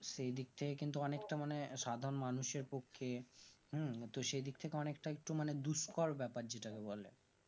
সেইদিক থেকে কিন্তু অনেকটা মানে সাধারণ মানুষের পক্ষে তো সেইদিক থেকে অঁনেকটা একটু মানে ঘুসখাওয়ার ব্যাপার ব্যাপার যেটাকে বলে